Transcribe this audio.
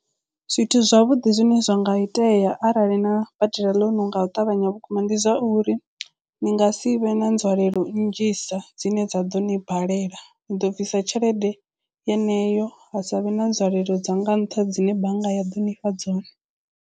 Zwithu zwavhuḓi zwine zwa nga itea arali na badela ḽounu nga u ṱavhanya vhukuma ndi zwa uri ni nga si vhe na nzwalelo nnzhisa dzine dza ḓo ni balela ni ḓo bvisa tshelede yeneyo ha savhe na nzwalelo dza nga nṱha dzine bannga ya ḓo nifha dzone.